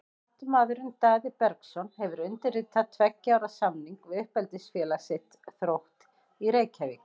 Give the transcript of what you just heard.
Kantmaðurinn Daði Bergsson hefur undirritað tveggja ára samning við uppeldisfélag sitt, Þrótt í Reykjavík.